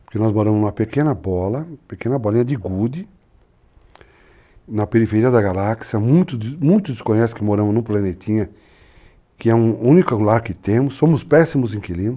Porque nós moramos numa pequena bola, pequena bolinha de gude, na periferia da galáxia, muitos desconhecem que moramos num planetinha que é o único lar que temos, somos péssimos inquilinos,